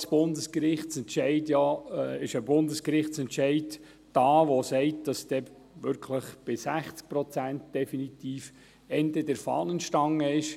Abgesehen davon gibt es einen Bundesgerichtsentscheid, welcher besagt, dass bei 60 Prozent definitiv Ende der Fahnenstange ist.